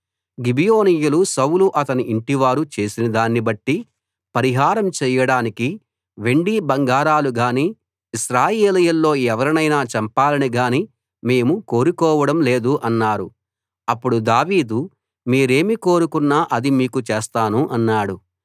గిబియోనీయులు సౌలు అతని ఇంటి వారు చేసినదాన్ని బట్టి పరిహారం చేయడానికి వెండి బంగారాలు గానీ ఇశ్రాయేలీయుల్లో ఎవరినైనా చంపాలని గానీ మేము కోరుకోవడం లేదు అన్నారు అప్పుడు దావీదు మీరేమి కోరుకున్నా అది మీకు చేస్తాను అన్నాడు